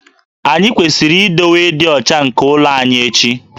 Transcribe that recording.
Anyị kwesịrị idowe ịdị ọcha nke ụlọ anyị echi